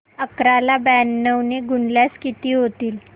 अकरा ला ब्याण्णव ने गुणल्यास किती होतील